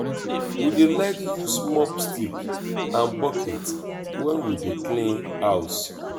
we dey like use mop stick and bucket wen we dey clean house.